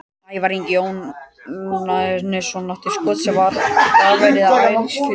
Ævar Ingi Jóhannesson átti skot sem var varið og Elías fylgdi eftir.